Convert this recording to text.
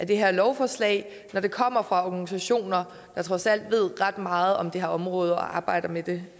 det her lovforslag når det kommer fra organisationer der trods alt ved ret meget om det her område og arbejder med det